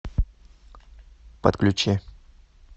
подключи